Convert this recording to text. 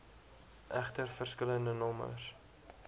egter verskillende nommers